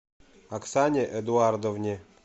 оксане эдуардовне